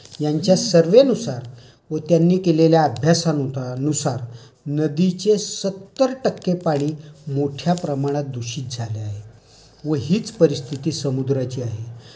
यांच्या सर्वे नुसार व त्यांनी केलेल्या अभ्यासानुसार नदीचे सत्तर टक्के पाणी मोठ्या प्रमाणात दूषित झाले आहे. व हीच परिस्थिति समुद्राची आहे.